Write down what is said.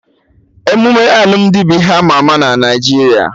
Emume alụmdi bụ ihe ama ama na Naijiria